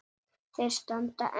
Þeir standa enn.